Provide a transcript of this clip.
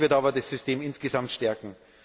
Das wird aber das System insgesamt stärken.